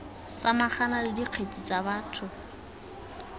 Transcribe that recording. samagana le dikgetse tsa batho